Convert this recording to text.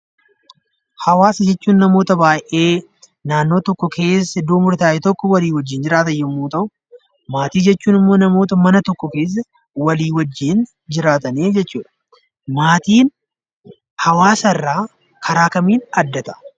Hawwaasa jechuun namoota baayyee naannoo murtaa'e keessa namoota waliin jiraatan yammuu ta'u; maatii jechuun immoo mana tokko keessatti kan walii wajjiin jiraatanii jechuu dha. Maatiin hawwaasa irraa karaa kamiin adda ta'a?